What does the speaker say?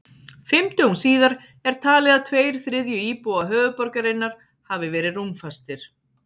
Fimm dögum síðar er talið að tveir þriðju íbúa höfuðborgarinnar hafi verið rúmfastir.